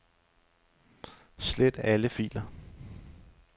Slet alle filer.